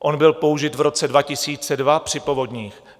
On byl použit v roce 2002 při povodních.